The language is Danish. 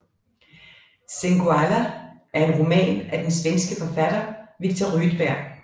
Singoalla er en roman af den svenske forfatter Viktor Rydberg